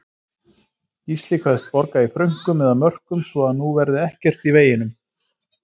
Gísli kveðst borga í frönkum eða mörkum svo að nú verði ekkert í veginum.